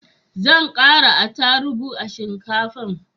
Zan kara atarubu a shinkafan